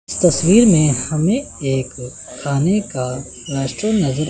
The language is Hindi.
इस तस्वीर में हमें एक खाने का रेस्टोरेंट नजर--